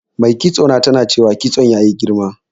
Mai kitso na tana ta cewa kitson ya yi girma.